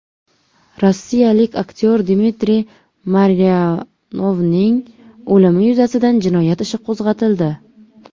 Rossiyalik aktyor Dmitriy Maryanovning o‘limi yuzasidan jinoyat ishi qo‘zg‘atildi.